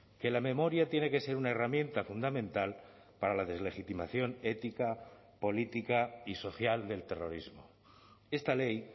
que la memoria tiene que ser una herramienta fundamental para la deslegitimación ética política y social del terrorismo esta ley